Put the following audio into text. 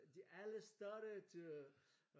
De alle startede øh